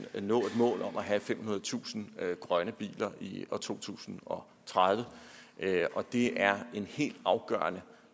mål om at have femhundredetusind grønne biler i år to tusind og tredive det er helt afgørende